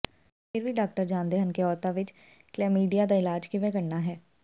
ਪਰ ਫਿਰ ਵੀ ਡਾਕਟਰ ਜਾਣਦੇ ਹਨ ਕਿ ਔਰਤਾਂ ਵਿੱਚ ਕਲੈਮੀਡੀਆ ਦਾ ਇਲਾਜ ਕਿਵੇਂ ਕਰਨਾ ਹੈ